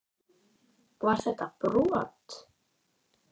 Var þetta brot?